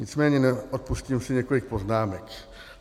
Nicméně neodpustím si několik poznámek.